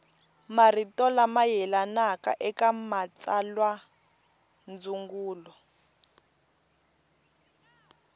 marito lama yelanaka eka matsalwandzungulo